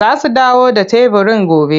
Za su dawo da teburin gobe,